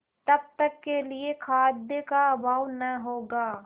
तब तक के लिए खाद्य का अभाव न होगा